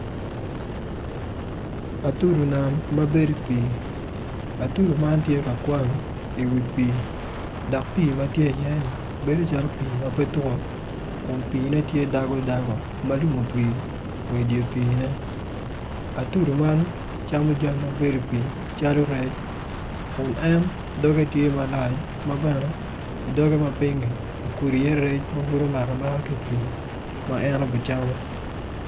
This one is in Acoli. Atudi nam ma bedo i pii atudo man tye i wii pii dok pii man bedo calo pii ma petut ma piine tye dago dago atudo man camo jami ma bedo i pii calo rec kun en doge tye malac.